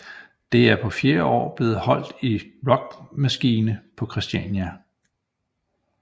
Det er på fjerde år blevet holdt i Rockmaskine på Christiania